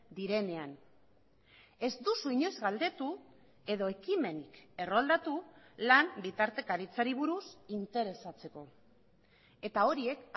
direnean ez duzu inoiz galdetu edo ekimenik erroldatu lan bitartekaritzari buruz interesatzeko eta horiek